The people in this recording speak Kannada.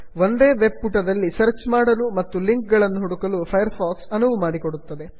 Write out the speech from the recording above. ಒಂದೇ ವೆಬ್ ಪುಟದಲ್ಲಿ ಸರ್ಚ್ ಮಾಡಲು ಮತ್ತು ಲಿಂಕ್ ಗಳನ್ನು ಹುಡುಕಲು ಫೈರ್ ಫಾಕ್ಸ್ ಅನುವು ಮಾಡಿಕೊಡುತ್ತದೆ